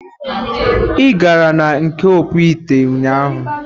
Ị gara na nke ọkpụ ite ụnyaahụ.